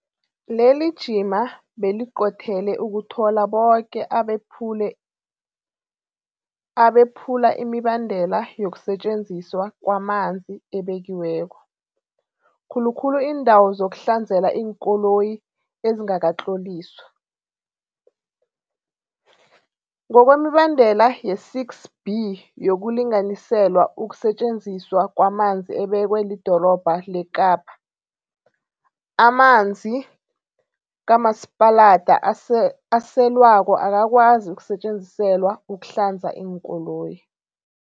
Lelijima beliqothele ukuthola boke abephula imibandela yokusetjenziswa kwamanzi ebekiweko, khulukhulu iindawo zokuhlanzela iinkoloyi ezingakatloliswa. Ngokwemibandela ye-6B yokulinganiselwa ukusetjenziswa kwamanzi ebekwe lidorobha leKapa, amanzi kamasipalada aselwako akakwazi ukusetjenziselwa ukuhlanza iinkoloyi.